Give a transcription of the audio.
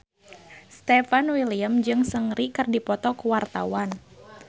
Stefan William jeung Seungri keur dipoto ku wartawan